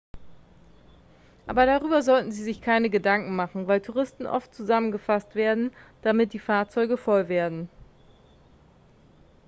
aber darüber sollten sie sich keine gedanken machen weil touristen oft zusammengefasst werden damit die fahrzeuge voll werden